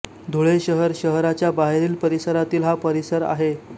धुळे शहर शहराच्या बाहेरील परिसरातील हा परिसर आहे